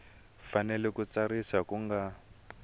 fanele ku tsarisiwa ku nga